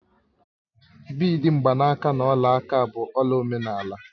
Bịidi, mgbanaka na ọla aka bụ ọla omenala